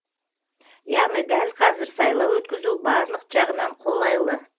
яғни дәл қазір сайлау өткізу барлық жағынан қолайлы